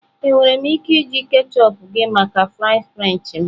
Enwere m ike iji ketchup gị maka fries french m?